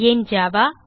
ஏன் ஜாவா